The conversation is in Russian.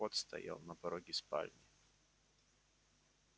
кот стоял на пороге спальни